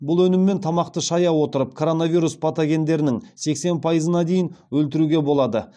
бұл өніммен тамақты шая отырып коронавирус патогендерінің сексен пайызына дейін өлтіруге болады